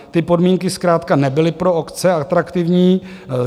Ty podmínky zkrátka nebyly pro obce atraktivní.